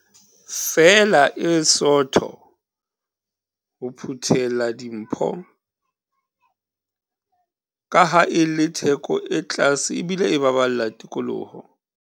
Feela e sootho ho phuthela dimpho, kaha e le theko e tlase ebile e baballa tikoloho.